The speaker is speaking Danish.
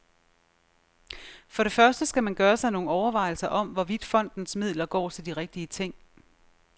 For det første skal man gøre sig nogle overvejelser om, hvorvidt fondens midler går til de rigtige ting.